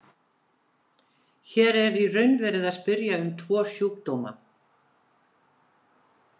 Hér er í raun verið að spyrja um tvo sjúkdóma.